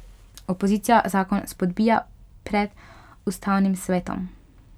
Opozicija zakon spodbija pred ustavnim svetom.